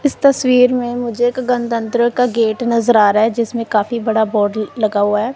इस तस्वीर में मुझे एक गनतंत्र का गेट नजर आ रहा है जिसमें काफी बड़ा बोर्ड लगा हुआ है।